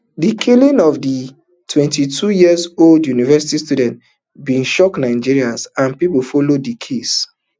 di killing of the twenty-two years old university student bin shock nigerians and pipu follow di case